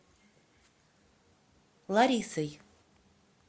ларисой